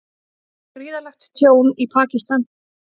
Gríðarlegt tjón í Pakistan